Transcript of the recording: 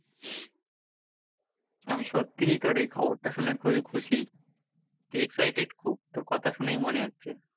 আমি সত্যি তোর এই খবরটা শুনে খুবই খুশি তুই excited খুব, তোর কথা শুনেই মনে হচ্ছে।